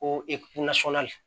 Ko